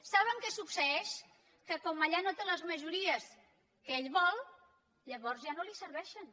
saben què succeeix que com allà no té les majories que ell vol llavors ja no li serveixen